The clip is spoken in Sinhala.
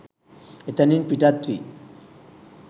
එතැනින් පිටත් වී